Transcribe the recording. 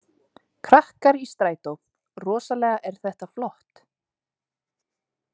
KRAKKAR Í STRÆTÓ „Rosalega er þetta flott!“